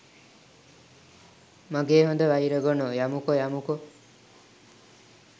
මගෙ හොද වයිර ගොනෝ යමුකෝ යමුකෝ